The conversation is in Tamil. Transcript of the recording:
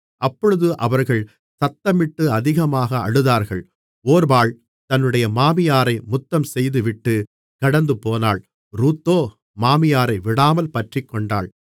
அப்பொழுது அவர்கள் சத்தமிட்டு அதிகமாக அழுதார்கள் ஒர்பாள் தன்னுடைய மாமியாரை முத்தம் செய்துவிட்டுக் கடந்துபோனாள் ரூத்தோ மாமியாரை விடாமல் பற்றிக்கொண்டாள்